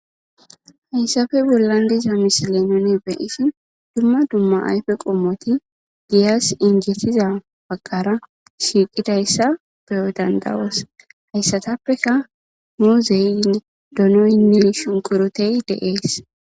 Hayisape bollan diza misile nuni be,ishin duma duma ayife qomoti be,anasi injetida bagara shiqidayisa be,o danda,os hesatapeka muzene donoyinne shunkurute de,ees